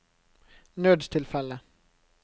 nødstilfelle